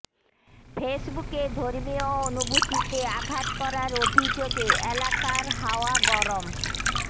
ফেসবুকে ধর্মীয় অনুভূতিতে আঘাত করার অভিযোগে এলাকার হাওয়া গরম